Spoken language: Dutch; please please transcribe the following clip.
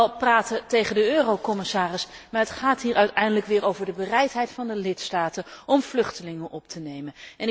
Ik kan wel praten tegen de eurocommissaris, maar het gaat hier uiteindelijk weer over de bereidheid van de lidstaten om vluchtelingen op te nemen.